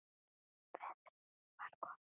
Veður var gott.